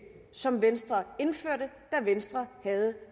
som venstre indførte da venstre havde